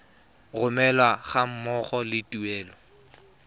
romelwa ga mmogo le tuelo